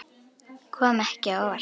Kom ekki á óvart.